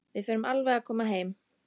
Við förum alveg að koma heim.